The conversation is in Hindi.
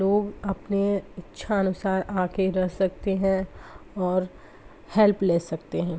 --लोग अपने इच्छा अनुसार आके रह सक्ते है और हेल्प ले सकते है।